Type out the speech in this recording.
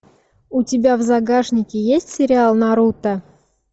у тебя в загашнике есть сериал наруто